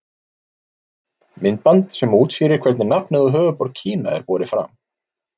Myndband sem útskýrir hvernig nafnið á höfuðborg Kína er borið fram.